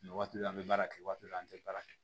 Nin waati dɔ la an bɛ baara kɛ waati dɔ an tɛ baara kɛ